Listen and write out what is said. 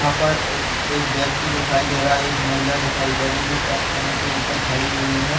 यहाँ पर एक व्यक्ति दिखाई दे रहा है एक महिला दिखाई दे रही जो की पत्थरो के ऊपर खड़ी हुई है।